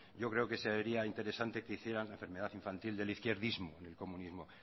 yo creo que se debería interesante que hicieran enfermedad infantil del izquierdismo en el comunismo